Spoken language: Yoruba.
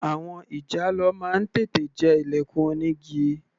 Àwọn ìjàlọ máa ń tètè jẹ ilẹ̀kùn onígi.